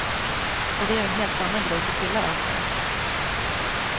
Och det är ju en helt annan grej för killar, antar jag.